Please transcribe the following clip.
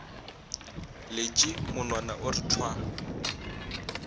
letše monwana o re thwa